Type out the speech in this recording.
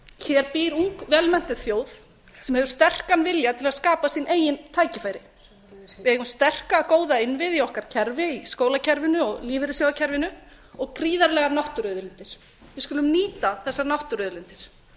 hér býr ung vel menntuð þjóð með sterkan vilja til að skapa sín eigin tækifæri við eigum sterka góða innviði í okkar kerfi í skólakerfinu og lífeyrissjóðakerfinu og prýðilegar náttúruauðlindir við skulum nýta þessar náttúruauðlindir